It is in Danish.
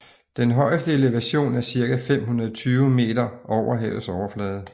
Den højeste elevation er ca 520 m over havets overflade